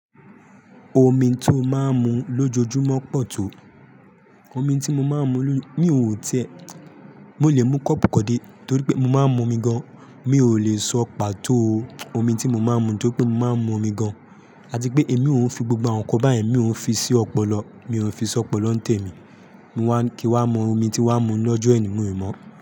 Omi tó máa ń mu lójoojúmọ́ pọ̀ tó. Omi tí mo máa ń mu, mi ò tí ẹ̀, mo lè mú kọ́ọ̀pù kan dé torí pé mo máa ń mu omi gan. Mi ò lè sọ pàtó omi tí mo máa ń mu, tóri pé mo máa ń mu omi gan. Àti pé èmi ò ń fi gbogbo àwọn nǹkan báyẹn, mi ò ń fi sí ọ̀pọ̀lọ́, mi ò ń fi sí ọ̀pọ̀lọ́ ń tẹ̀ mí. Mo wá kí wa mọ omi tí wa ń mu lọ́jọ eni, mi i mọ.